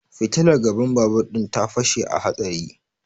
Fitilar gaban babur din ta fashe a hatsari